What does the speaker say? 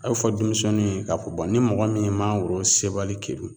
A be fɔ denmisɛnnuw ye k'a fɔ bɔn ni mɔgɔ min ye mangoro sebali kerun